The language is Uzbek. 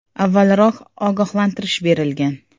Avvalroq ogohlantirish berilgan.